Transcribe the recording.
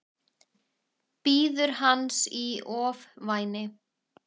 Bíður hans í ofvæni.